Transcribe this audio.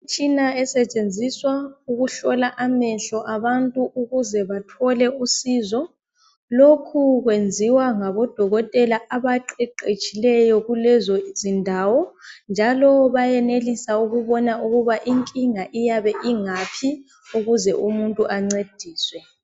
Umtshina esetshenziswa ukuhlola amehlo abantu ukuze bathole usizo lokhu kwenziwa ngabodokotela abaqeqetshileyo kulezo izindawo njalo bayenelisa ukubona ukuba incinga iyabe ingaphi ukuze umuntu ancediswe